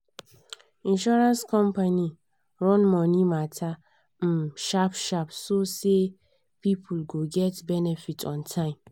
insurance company run money matter um sharp sharp so say people go get benefit on time.